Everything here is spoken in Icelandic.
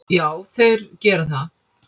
Já, þeir gera það.